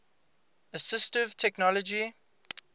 assistive technology